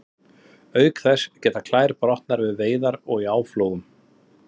Auk þess geta klær brotnað við veiðar og í áflogum.